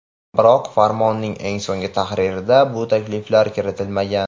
Biroq, Farmonning eng so‘nggi tahririga bu takliflar kiritilmagan.